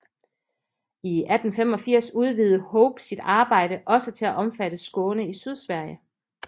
I 1885 udvidede Hope sit arbejde også til at omfatte Skåne i Sydsverige